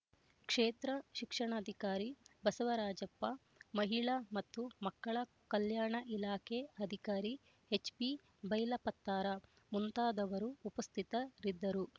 ಕ್ಷೇತ್ರ ಶಿಕ್ಷಣಾಧಿಕಾರಿ ಬಸವರಾಜಪ್ಪ ಮಹಿಳಾ ಮತ್ತು ಮಕ್ಕಳ ಕಲ್ಯಾಣ ಇಲಾಖೆ ಅಧಿಕಾರಿ ಎಚ್ಬಿ ಬೈಲಪತ್ತಾರ ಮುಂತಾದವರು ಉಪಸ್ಥಿತರಿದ್ದರು